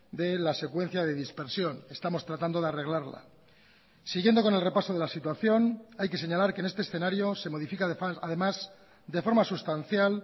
de la secuencia de dispersión estamos tratando de arreglarla siguiendo con el repaso de la situación hay que señalar que en este escenario se modifica además de forma sustancial